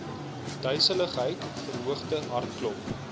duiseligheid verhoogde hartklop